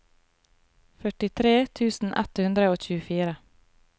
førtitre tusen ett hundre og tjuefire